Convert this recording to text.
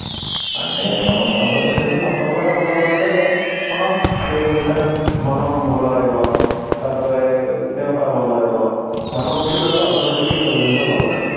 ମାନେ ସମସ୍ତଙ୍କ ସହିତ ସମ୍ପର୍କଟା ଭଲ ରହିଲେ କଣ ସେଇ ଅନୁସାରେ ମନ ଭଲ ରହିବ ତାପରେ ଦେହ ପା ଭଲ ରହିବ ମନ ଖୁସି ରହିଲେ automatically ସବୁ ଜିନିଷ ଭଲ ରହିବ